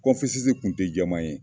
tun tɛ jɛman ye